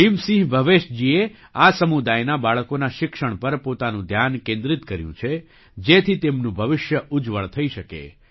ભીમસિંહ ભવેશજીએ આ સમુદાયનાં બાળકોના શિક્ષણ પર પોતાનું ધ્યાન કેન્દ્રિત કર્યું છે જેથી તેમનું ભવિષ્ય ઉજ્જવળ થઈ શકે